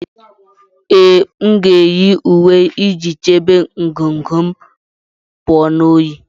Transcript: Ee, m ga-eyi uwe iji chebe ngụgụ m pụọ na oyi